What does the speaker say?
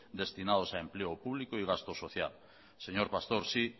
destinados a empleo público y gasto social señor pastor sí